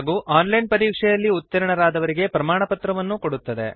ಹಾಗೂ online ಪರೀಕ್ಷೆಯಲ್ಲಿ ಉತ್ತೀರ್ಣರಾದವರಿಗೆ ಪ್ರಮಾಣಪತ್ರವನ್ನು ಕೊಡುತ್ತದೆ